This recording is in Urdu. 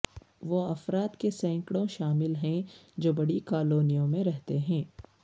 وہ افراد کے سینکڑوں شامل ہیں جو بڑی کالونیوں میں رہتے ہیں